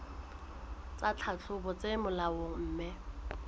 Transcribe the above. tsa tlhahlobo tse molaong mme